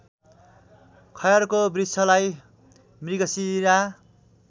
खयरको वृक्षलाई मृगशिरा